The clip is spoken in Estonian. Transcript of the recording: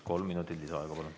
Kolm minutit lisaaega, palun.